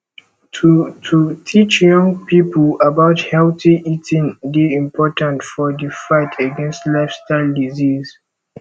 to to teach young pipo about healthy eating dey important for di fight against lifestyle diseases